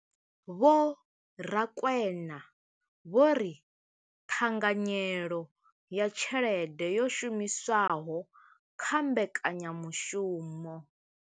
Vho Rakwena vho ri ṱhanganyelo ya tshelede yo shumiswaho kha mbekanyamushumo.